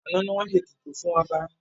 Àná ni wọ́n ṣe ètùtù fún ọba